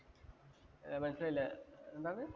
ഇല്ലേ? എന്താന്ന്